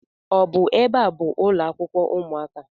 Ọ bụ ebe a bụ ụlọakwụkwọ ụmụaka?